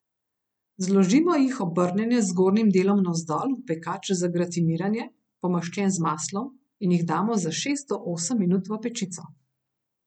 Zložimo jih obrnjene z zgornjim delom navzdol v pekač za gratiniranje, pomaščen z maslom, in jih damo za šest do osem minut v pečico.